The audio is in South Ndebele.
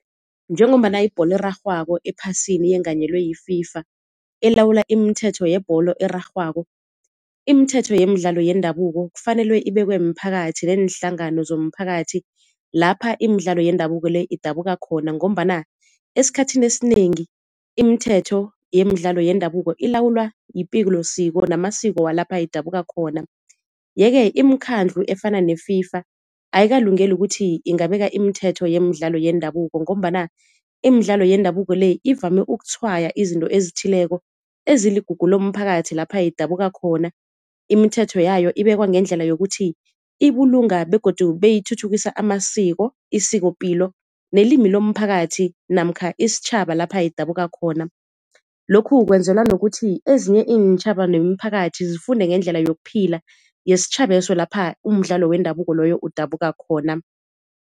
Njengombana ibholo erarhwako ephasini yenganyelwe yi-FIFA elawula imithetho yebholo erarhwako. Imithetho yemidlalo yendabuko kufanele ibekwe mphakathi neenhlangano zomphakathi lapha imidlalo yendabuko le idabuka khona, ngombana esikhathini esinengi imithetho yemidlalo yendabuko ilawulwa yipilosiko namasiko walapha idabuka khona. Ye-ke imikhandlu efana ne-FIFA ayikalungeli ukuthi ingabeka imithetho yemidlalo yendabuko, ngombana imidlalo yendabuko le ivame ukutshwaya izinto ezithileko eziligugu lomphakathi lapha idabuka khona, imithetho yayo ibekwa ngendlela yokuthi ibulunga begodu beyithuthukisa amasiko, isikopilo nelimi lomphakathi namkha isitjhaba lapha idabuka khona. Lokhu kwenzelwa nokuthi ezinye iintjhaba nemiphakathi zifunde ngendlela yokuphila yesitjhaba leso lapha umdlalo wendabuko loyo udabuka khona.